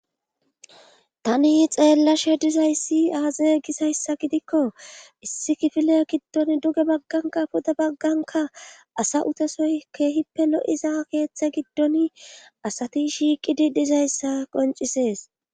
tani xeellashe dizayssi aaze gisayssa gidikko issi kifile giddon duge bagganka puda bagganka asa utesoy keehippe lo7iza keeththe giddon asati shiiqidi dizayssa qoncisees